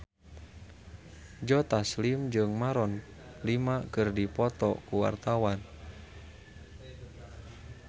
Joe Taslim jeung Maroon 5 keur dipoto ku wartawan